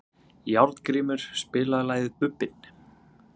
Járngrímur, spilaðu lagið „Bubbinn“.